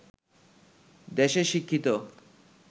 দেশের শিক্ষিত